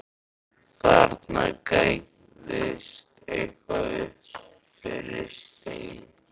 Þarna gægðist eitthvað upp fyrir stein.